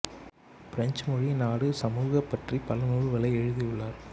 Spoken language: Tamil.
பிரெஞ்சு மொழி நாடு சமூக பற்றி பல நூல்களை எழுதியுள்ளார்